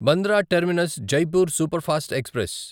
Bandra terminus Jaipur superfast express